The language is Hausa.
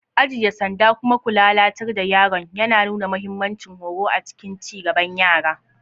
"Ajiye sanda kuma ku lalatar da yaron" yana nuna mahimmancin horo a cikin ci gaban yara.